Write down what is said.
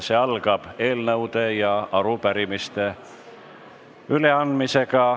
See algab eelnõude ja arupärimiste üleandmisega.